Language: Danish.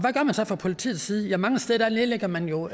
man så fra politiets side ja mange steder nedlægger man jo